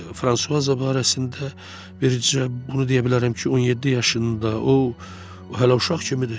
Fransuaza barəsində, bircə bunu deyə bilərəm ki, 17 yaşında o, hələ uşaq kimidir.